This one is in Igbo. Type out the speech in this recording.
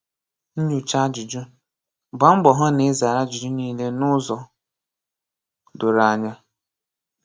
Nyoocha Ajụjụ: Gbaa mbọ hụ na ị zara ajụjụ niile n’ụzọ doro anya.